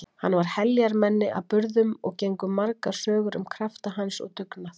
Hann var heljarmenni að burðum og gengu margar sögur um krafta hans og dugnað.